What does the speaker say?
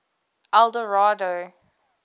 eldorado